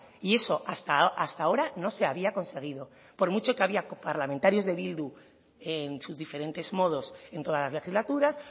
y eso hasta ahora no se había conseguido por mucho que había parlamentarios de bildu en sus diferentes modos en todas las legislaturas